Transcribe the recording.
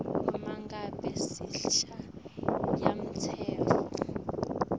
uma ngabe sishayamtsetfo